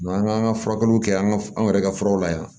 an ka furakɛliw kɛ an ka an yɛrɛ ka furaw la yan